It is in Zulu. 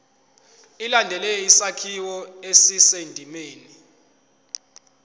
ilandele isakhiwo esisendimeni